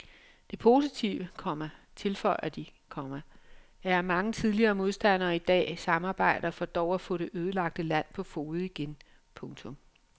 Det positive, komma tilføjer de, komma er at mange tidligere modstandere i dag samarbejder for dog at få det ødelagte land på fode igen. punktum